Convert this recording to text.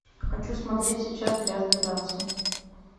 хочу смотреть сейчас грязные танцы